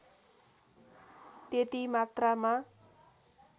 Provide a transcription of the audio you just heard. त्यति मात्रामा